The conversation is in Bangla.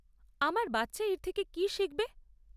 আমার বাচ্চা এর থেকে কী শিখবে?